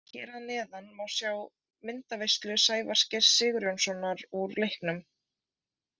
Hér að neðan má sjá myndaveislu Sævars Geirs Sigurjónssonar úr leiknum.